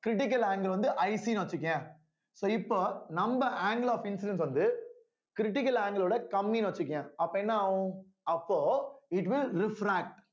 critical angle வந்து IC ன்னு வச்சுக்கயேன் so இப்போ நம்ம angle of insulins வந்து critical angle ஓட கம்மின்னு வச்சுக்கயேன் அப்போ என்ன ஆகும் அப்போ it will refract